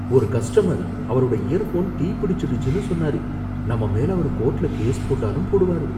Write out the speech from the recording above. ஒரு கஸ்டமர் அவரோட இயர்ஃபோன் தீ பிடிச்சிடுச்சுன்னு சொன்னாரு. நம்ம மேல அவரு கோர்ட்ல கேஸ் போட்டாலும் போடுவாரு.